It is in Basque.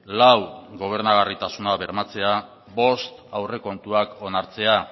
lau gobernagarritasuna bermatzea bost aurrekontuak onartzea